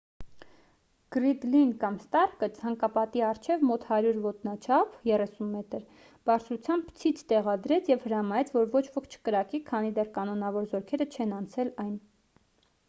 գռիդլին կամ ստարկը ցանկապատի առջև մոտ 100 ոտնաչափ 30 մ բարձրությամբ ցից տեղադրեց և հրամայեց որ ոչ ոք չկրակի քանի դեռ կանոնավոր զորքերը չեն անցել այն։